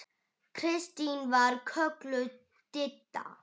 Kristín var kölluð Didda.